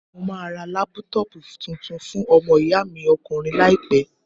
Mo máa ra lápútọpù tuntun fún ọmọ ìyá mi ọkùnrin láìpẹ́.